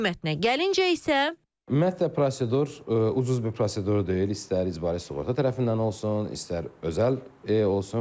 Qiymətinə gəlincə isə Ümumiyyətlə prosedur ucuz bir prosedur deyil, istər icbari sığorta tərəfindən olsun, istər özəl olsun.